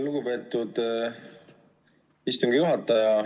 Lugupeetud istungi juhataja!